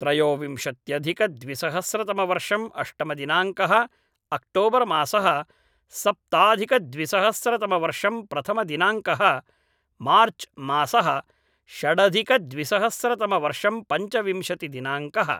त्रयोविंशत्यधिक द्विसहस्रतमवर्षम् अष्टमदिनाङ्कः अक्टोबर् मासः सप्ताधिकद्विसहस्रतमवर्षं प्रथमदिनाङ्कः मार्च् मासः षडधिकद्विसहस्रतमवर्षं पञ्चविंशति दिनाङ्कः